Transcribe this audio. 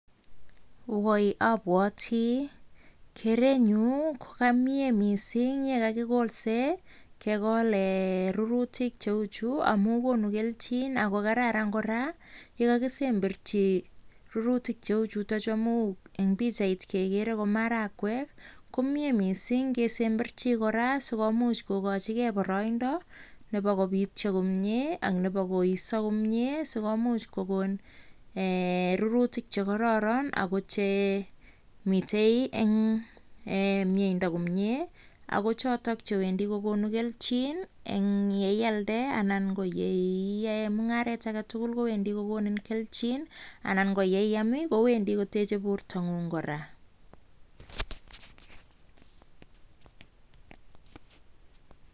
Woi abwoti kerenyu kokamie mising kekol rurutik cheuchu Ako kora yekakisemberchi rurutik cheuchutokchu amun eng pikchait kekere ko marakwek komie mising kesemberchi kora sikomuch kokochigei boroiindo nebo kobitcho komieak nebo koiso komie sikomuch kokon rurutik chekororon Ako chemitei eng mieindo komie Ako chotok chewendi kokonu keljin eng yeilde anan ko yeiyae mungaret agetugul kowendi kokonin keljin anan ko yeiam kowendi kotechei borton'yung kora